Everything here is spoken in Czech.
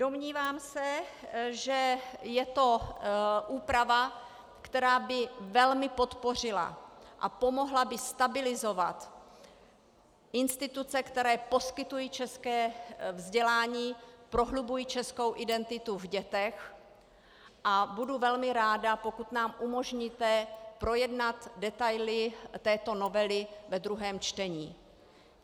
Domnívám se, že je to úprava, která by velmi podpořila a pomohla by stabilizovat instituce, které poskytují české vzdělání, prohlubují českou identitu v dětech, a budu velmi ráda, pokud nám umožníte projednat detaily této novely ve druhém čtení.